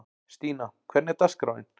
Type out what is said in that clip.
Stína, hvernig er dagskráin?